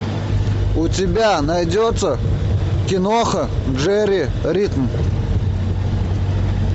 у тебя найдется киноха держи ритм